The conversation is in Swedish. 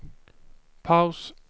paus